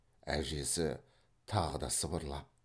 әжесі тағы да сыбырлап